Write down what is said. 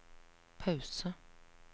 pause